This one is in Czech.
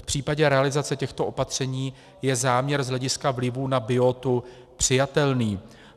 V případě realizace těchto opatření je záměr z hlediska vlivů na biotu přijatelný.